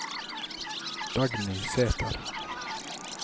Dagny Sæther